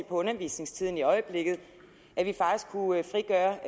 på undervisningstiden i øjeblikket at vi faktisk kunne frigøre